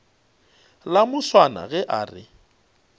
la moswana ge a re